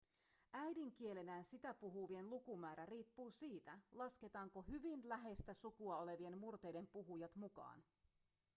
äidinkielenään sitä puhuvien lukumäärä riippuu siitä lasketaanko hyvin läheistä sukua olevien murteiden puhujat mukaan